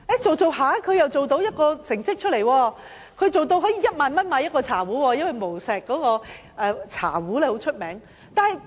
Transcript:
他後來做出成績，一個茶壺的售價是1萬元，因為無錫的茶壺很有名。